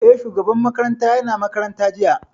Eh, shugaban makarantar ya na makaranta jiya